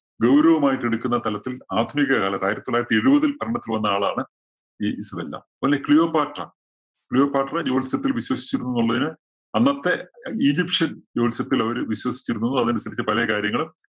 ഗൗരവമായിട്ട് എടുക്കുന്ന തലത്തില്‍ ആധുനിക കാലത്ത് അതായത് ആയിരത്തി തൊള്ളായിരത്തി എഴുപതില്‍ ഭരണത്ത് വന്ന ആളാണ് ഈ ഇസബെല്ല. ക്ലിയോപാട്ര ക്ലിയോപാട്ര ജ്യോത്സ്യത്തില്‍ വിശ്വസിച്ചിരുന്നു എന്നുള്ളതിന് അന്നത്തെ ഈജിപ്ഷ്യന്‍ ജ്യോത്സ്യത്തില്‍ അവര് വിശ്വസിച്ചിരുന്നു. അതനുസരിച്ച് പല കാര്യങ്ങളും